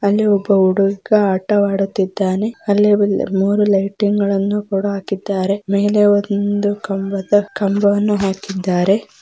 ಅಲ್ಲಿ ಒಬ್ಬ ಹುಡುಗ ಆಟವಾಡುತ್ತಾನೆ ಅಲ್ಲಿ ಮೂರೂ ಲೈಟಿಂಗ್ ಗಳನ್ನೂ ಕೂಡ ಹಾಕಿದ್ದಾರೆ ಮೇಲೆ ಒಂದು ಕಂಬದ ಕಂಬವನ್ನು ಹಾಕಿದ್ದಾರೆ.